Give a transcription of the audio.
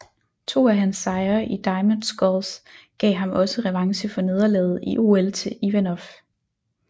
To af hans sejre i Diamond Sculls gav ham også revanche for nederlaget i OL til Ivanov